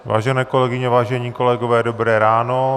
Vážené kolegyně, vážení kolegové, dobré ráno.